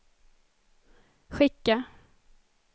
skicka